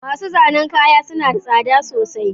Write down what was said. Masu zanen kaya suna da tsada sosai